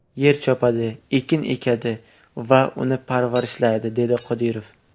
Yer chopadi, ekin ekadi va uni parvarishlaydi”, dedi Qodirov.